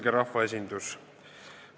Kõrge rahvaesindus!